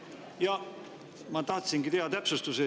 Jah, ma tahtsingi teha täpsustuse.